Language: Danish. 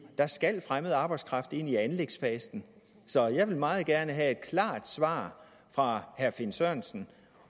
der skal fremmed arbejdskraft ind i anlægsfasen så jeg vil meget gerne have et klart svar fra herre finn sørensen